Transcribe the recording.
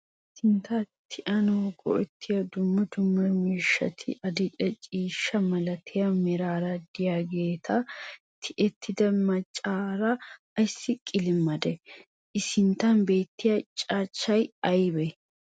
Sintta tiyanawu go'ettiyo dumma dumma miishshati adil"e ciishshaa malatiya meraara deiyageeta tiyettida maccassiya ayssi qilimmadee? I sinttan beettiyage cachchay aybee?